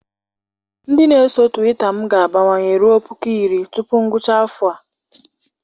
Ndị na-eso Twita m ga-abawanye ruo puku iri tupu ngwụcha afọ a.